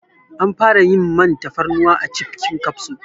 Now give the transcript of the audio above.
An fara yin man tafarnuwa a cibbbbhhkin kafso